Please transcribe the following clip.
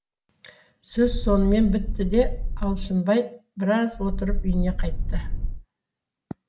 сөз сонымен бітті де алшынбай біраз отырып үйіне қайтты